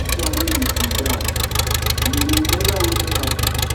dis one wey you sit down you dey remember wetin happen?